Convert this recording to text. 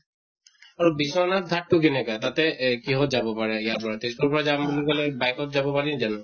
আৰু বিশ্বনাথ ঘাট্তো কেনেকা তাতে এহ কিহত যাব পাৰে ইয়াৰ পৰা, তেজ্পুৰৰ পৰা যাম বুলি কলে bike ত যাব পাৰি জানো?